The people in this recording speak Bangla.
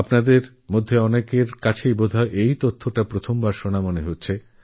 আপনাদেরমধ্যে এমন অনেকে আছেন যাঁরা হয়ত প্রথমবার এই তথ্য জানছেন